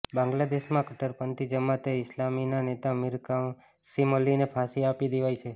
બાંગ્લાદેશમાં કટ્ટરપંથી જમાતે ઈસ્લામીના નેતા મીર કાસિમઅલીને ફાંસી આપી દેવાઈ છે